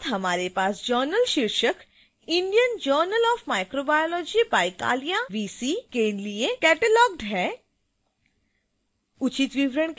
इसी के साथ हमारे पास जर्नल शीर्षक indian journal of microbiology by kalia vc के लिए cataloged है